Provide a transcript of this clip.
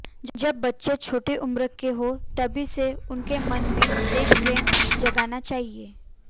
जब बच्चे छोटे उम्र के हो तभी से उनके मन में देश प्रेम जगाना चाहिए